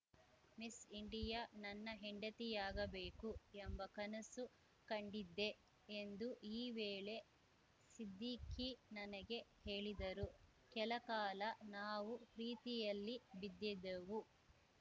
miss India ನನ್ನ ಹೆಂಡತಿಯಾಗಬೇಕು ಎಂಬ ಕನಸು ಕಂಡಿದ್ದೆ ಎಂದು ಈ ವೇಳೆ ಸಿದ್ದಿಖಿ ನನಗೆ ಹೇಳಿದರು ಕೆಲಕಾಲ ನಾವು ಪ್ರೀತಿಯಲ್ಲಿ ಬಿದ್ದಿದ್ದೆವು